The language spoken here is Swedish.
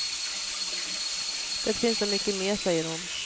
Det finns så mycket mer, säger hon.